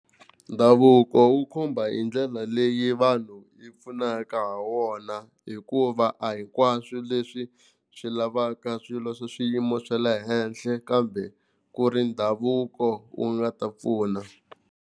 Ndhavuko wu khumba hi ndlela leyi vanhu hi pfunaka ha wona, hikuva a hinkwaswo leswi swi lavaka swilo swa swiyimo swa le henhla kambe ku ri ndhavuko wu nga ta pfuna.